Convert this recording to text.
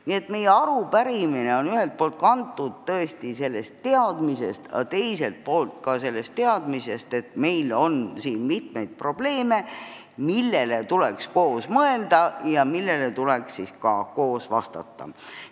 Nii et meie arupärimine on ühest küljest kantud tõesti sellest teadmisest, teisalt aga asjaolust, et meil on probleeme, millele tuleks koos mõelda, ja küsimusi, millele tuleks koos vastata.